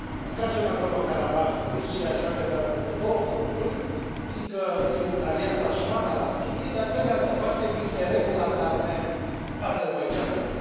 În cazul Nagorno Karabah, Rusia joacă de altfel pe două fronturi, fiindcă e un aliat asumat al Armeniei, dar, pe de altă parte, vinde regulat arme Azerbaidjanului.